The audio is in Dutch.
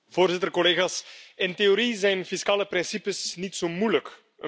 Voorzitter, collega's, in theorie zijn fiscale principes niet zo moeilijk.